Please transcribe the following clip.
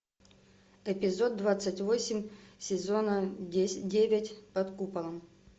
эпизод двадцать восемь сезона девять под куполом